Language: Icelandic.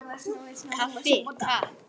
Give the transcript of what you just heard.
Kaffi, Takk!